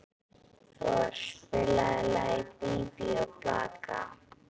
Thor, spilaðu lagið „Bí bí og blaka“.